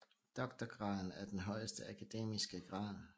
Doktorgraden er den højeste akademiske grad